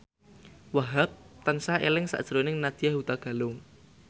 Wahhab tansah eling sakjroning Nadya Hutagalung